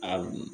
A